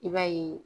I b'a ye